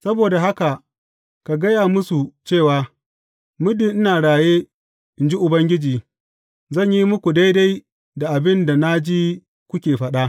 Saboda haka ka gaya musu cewa, Muddin ina raye, in ji Ubangiji, zan yi muku daidai da abin da na ji kuke faɗa.